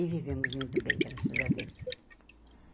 E vivemos muito bem, graças a Deus.